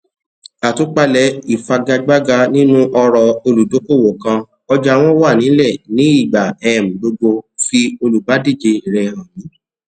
àtúpalẹ ìfagagbága nínú ọrọ olùdókòwò kan ọjà wọn wà nílẹ ní ìgbà um gbogbo fi olùbádíje rẹ hàn mi